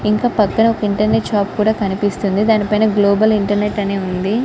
ఇంకా పక్కన ఒక ఇంటర్నెట్ షాప్ కుడా కనిపిస్తుంది.దాని పైన గ్లోబల్ ఇంటర్నెట్ అని ఉంది.